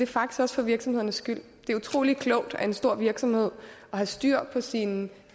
faktisk også for virksomhedernes skyld det er utrolig klogt af en stor virksomhed at have styr på sine